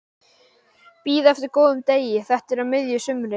Bíða eftir góðum degi, þetta er á miðju sumri.